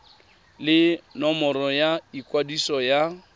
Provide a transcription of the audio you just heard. le nomoro ya ikwadiso ya